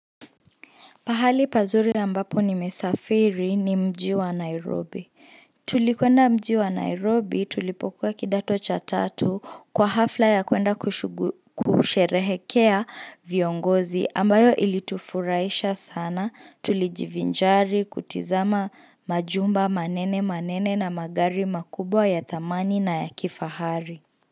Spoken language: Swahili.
Pahali pazuri ambapo nimesafiri ni mji wa Nairobi. Tulikwenda mji wa Nairobi tulipokuwa kidato cha tatu kwa hafla ya kuenda kusherehekea viongozi ambayo ilitufurahisha sana. Tulijivinjari kutizama majumba manene manene na magari makubwa ya thamani na ya kifahari.